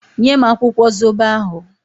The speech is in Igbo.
Nye m akwụkwọ zobo ahụ!